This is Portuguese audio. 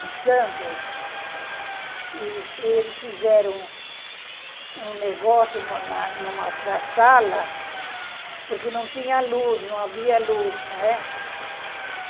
em Santos, e eles fizeram um negócio num na na sala, porque não tinha luz, não havia luz, não é?